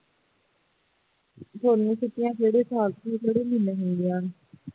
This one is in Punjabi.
ਤੁਹਾਨੂੰ ਝੂਠਿਆਂ ਕਿਹੜੇ ਸਾਲ ਚ ਕਿਹੜੇ ਮਹੀਨੇ ਮਿਲਦੀਆਂ ਹਨ